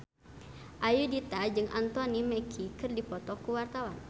Ayudhita jeung Anthony Mackie keur dipoto ku wartawan